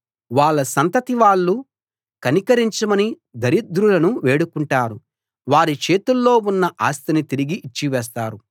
వాళ్ళ సంతతి వాళ్ళు కనికరించమని దరిద్రులను వేడుకుంటారు వారి చేతుల్లో ఉన్న ఆస్తిని తిరిగి ఇచ్చివేస్తారు